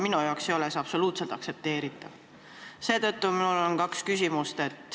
See ei ole minu jaoks absoluutselt aktsepteeritav ja seetõttu on mul kaks küsimust.